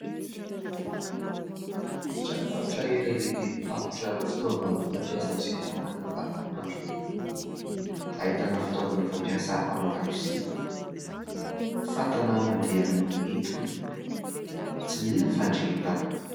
Tranom-barotra iray lehibe mivarotra fitaovana fampiasa amin'ny fiainana andavanandro ; ahitana fitaovana fampiasa ao an-dakozia, fatana mandeha amin'ny etona, tsy mila fandrehetana.